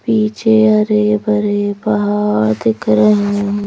पीछे हरे भरे पहाड़ दिख रहे हैं।